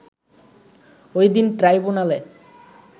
ওই দিন ট্রাইব্যুনালে